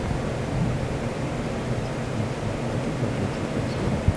картина райские кущи хочу смотреть сейчас